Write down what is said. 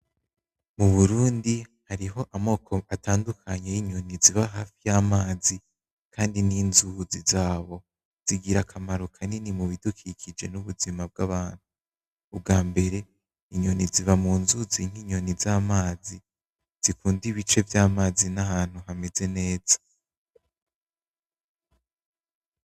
Mu burundi hariho amoko atandukanye y'inyoni ziba hafi yamazi kandi n'inzuzi zaho zigira akamaro kanini mubidukikije n'ubuzima bw'abantu ubwambere inyoni ziba munzuzi nk'inyoni z'amazi zikunda ibice vy'amazi nahantu hameze neza.